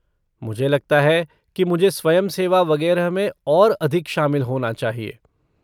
मुझे लगता है कि मुझे स्वयंसेवा वगेरह में और अधिक शामिल होना चाहिए।